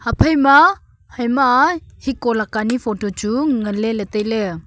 ephaima haima hiko leka ni photo chu nganley ley tailey.